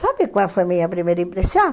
Sabe qual foi a minha primeira impressão?